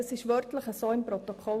Das steht so im Protokoll.